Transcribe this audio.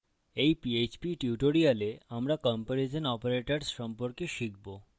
in PHP tutorial আমরা comparison তুলনামূলক operators সম্পর্কে শিখবো